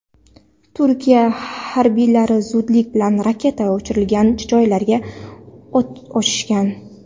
Turkiya harbiylari zudlik bilan raketa uchirilgan joylarga o‘t ochishgan.